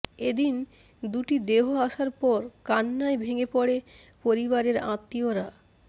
এদিন দুটি দেহ আসার পর কান্নায় ভেঙ্গে পড়ে পরিবারের আত্মীয়রা